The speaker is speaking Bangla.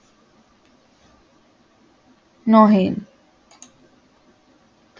নহে